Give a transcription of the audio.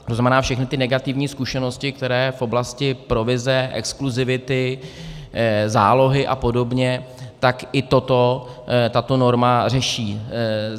To znamená, všechny ty negativní zkušenosti, které v oblasti provize, exkluzivity, zálohy a podobně, tak i toto tato norma řeší.